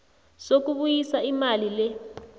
sokubuyisa imali le